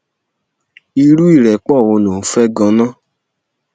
irú ìrẹpọ wo ló ń fẹ ganan